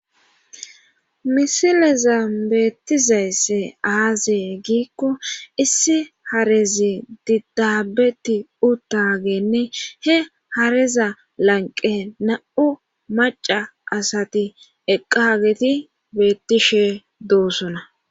misileza beettizaysse aazee giikko issi harezi didaabeti uttagenne he hareza lanqe na7u maca asati eqqaageti beettishe doossona